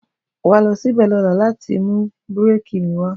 Wà lọsí bẹ lola làtí mú búrẹki mí wà.